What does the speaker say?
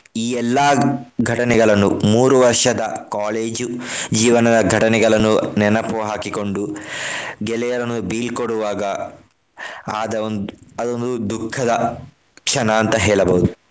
ಈ ಎಲ್ಲಾ ಘಟನೆಗಳನ್ನು ಮೂರು ವರ್ಷದ college ಜೀವನದ ಘಟನೆಗಳನ್ನು ನೆನಪು ಹಾಕಿಕೊಂಡು ಗೆಳೆಯರನ್ನು ಬೀಳ್ಕೊಡುವಾಗ ಆದ ಒಂದ್~ ಅದೊಂದು ದುಃಖದ ಕ್ಷಣ ಅಂತ ಹೇಳಬಹುದು.